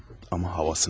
Amma havasını alır.